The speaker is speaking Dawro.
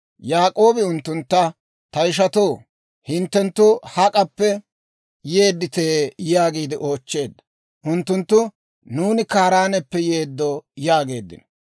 Yaak'oobi unttuntta, «Ta ishatoo, hinttenttu hak'appe yeddite?» yaagiide oochcheedda. Unttunttu, «Nuuni Kaaraaneppe yeeddo» yaageeddino.